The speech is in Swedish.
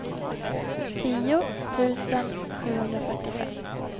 tio tusen sjuhundrafyrtiofem